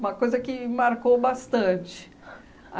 Uma coisa que marcou bastante.